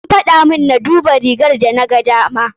An faɗamun na duba rigar da na gadama.